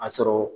A sɔrɔ